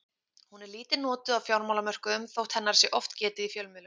Hún er lítið notuð á fjármálamörkuðum þótt hennar sé oft getið í fjölmiðlum.